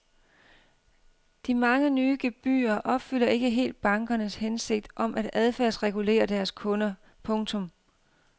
De mange nye gebyrer opfylder ikke helt bankernes hensigt om at adfærdsregulere deres kunder. punktum